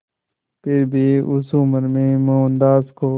फिर भी उस उम्र में मोहनदास को